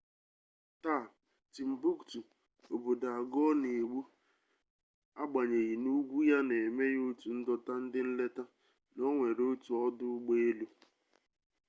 taa timbuktu obodo agụọ na-egbu agbanyeghị n'ugwu ya na-eme ya otu ndọta ndị nleta na o nwere otu ọdụ ụgbọelu